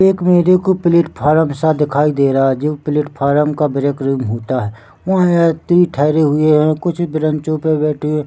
एक मेरे को प्लेटफॉर्म सा दिखाई दे रहा है जो प्लेटफार्म का ब्रेकरूम होता है वहाँ यात्री ठेहरे हुए है कुछ ब्रेंचों पे बैठे है।